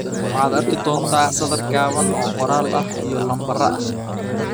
Waxaad arki doontaa sadar gaaban oo qoraal iyo lambaro ah.